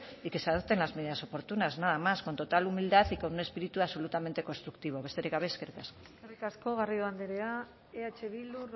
y que se adopten las medidas oportunas nada más con total humildad y con un espíritu absolutamente constructivo besterik gabe eskerrik asko eskerrik asko garrido andrea eh bildu